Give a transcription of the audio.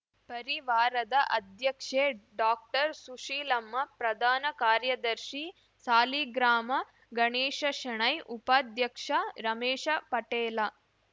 ಪರಿವಾರದ ಅಧ್ಯಕ್ಷೆ ಡಾಕ್ಟರ್ಸುಶೀಲಮ್ಮ ಪ್ರಧಾನ ಕಾರ್ಯದರ್ಶಿ ಸಾಲಿಗ್ರಾಮ ಗಣೇಶ ಶೆಣೈ ಉಪಾಧ್ಯಕ್ಷ ರಮೇಶ ಪಟೇಲ